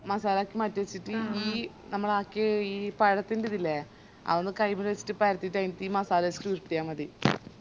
മസാലൊക്കെ മാറ്റി വെച്ചിറ്റ് ഈ നമ്മളാക്കിയേ ഈ പഴത്തിന്റെതില്ലേ അതൊന്ന് കൈമല് വെച്ചിറ്റ് പറത്തിറ്റ് അയ് ഈ മസാല വെച്ചിറ്റ് ഉരുട്ടിയ മതി